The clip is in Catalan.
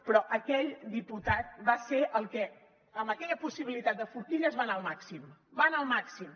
però aquell diputat va ser el que amb aquella possibilitat de forquilles va anar al màxim va anar al màxim